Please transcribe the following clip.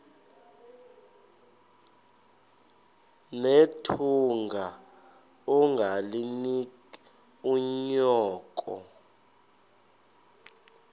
nethunga ungalinik unyoko